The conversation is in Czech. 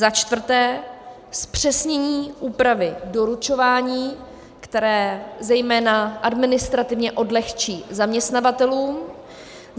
Za čtvrté, zpřesnění úpravy doručování, které zejména administrativně odlehčí zaměstnavatelům.